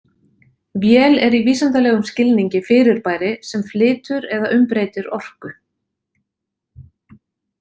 Vél er í vísindalegum skilningi fyrirbæri sem flytur eða umbreytir orku.